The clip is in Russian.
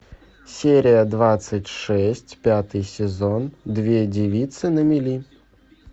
серия двадцать шесть пятый сезон две девицы на мели